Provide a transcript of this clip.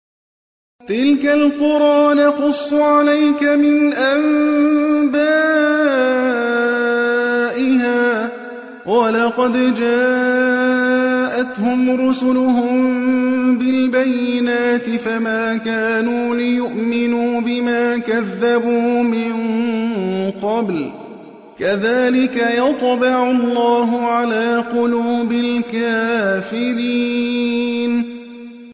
تِلْكَ الْقُرَىٰ نَقُصُّ عَلَيْكَ مِنْ أَنبَائِهَا ۚ وَلَقَدْ جَاءَتْهُمْ رُسُلُهُم بِالْبَيِّنَاتِ فَمَا كَانُوا لِيُؤْمِنُوا بِمَا كَذَّبُوا مِن قَبْلُ ۚ كَذَٰلِكَ يَطْبَعُ اللَّهُ عَلَىٰ قُلُوبِ الْكَافِرِينَ